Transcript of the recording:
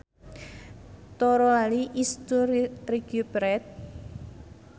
To rally is to recuperate